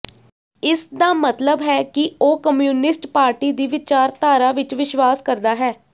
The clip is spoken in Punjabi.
ਇਸ ਦਾ ਮਤਲਬ ਹੈ ਕਿ ਉਹ ਕਮਿਊਨਿਸਟ ਪਾਰਟੀ ਦੀ ਵਿਚਾਰਧਾਰਾ ਵਿਚ ਵਿਸ਼ਵਾਸ ਕਰਦਾ ਹੈ